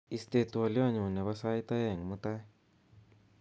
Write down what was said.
isten twolyotnyun nebo sait oeng mutai